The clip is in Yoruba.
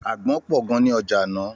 Àgbọn pọ̀ gan ní ọjà ní àná.